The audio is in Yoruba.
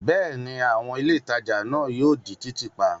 Bẹ́ẹ̀ ni, àwọn ilé ìtajà náà yóò di títì pa.